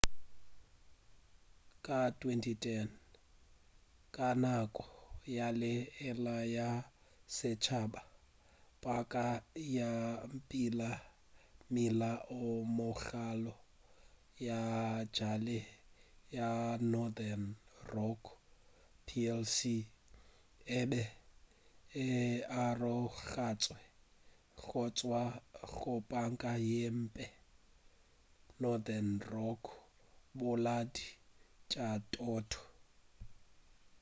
ka 2010 ka nako ya ge e le ya setšhaba panka ya mmila o mogolo ya bjale ya northern rock plc e be e arogantšwe go tšwa go 'panka ye mphe' northern rock bolaodi bja thoto